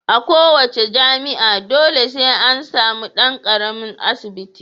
A kowa ce jami'a dole sai an samu dan karamin asibiti.